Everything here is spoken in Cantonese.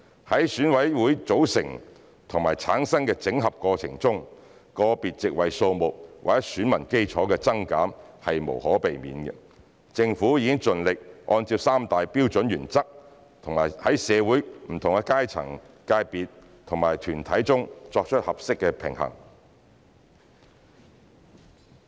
在選委會組成和產生辦法的整合過程中，個別席位數目或選民基礎的增減是無可避免的，政府已盡力按照三大標準原則在社會不同階層、界別和團體之間作出合適平衡。